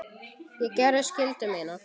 Ég gerði skyldu mína.